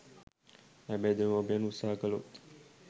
හැබැයි දෙමාපියන් උත්සාහ කළොත්